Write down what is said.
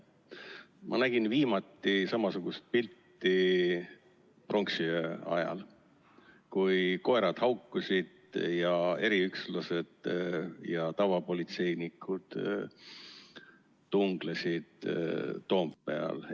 Ma nägin viimati samasugust pilti pronksiöö ajal, kui koerad haukusid, eriüksuslased ja tavapolitseinikud tunglesid Toompeal.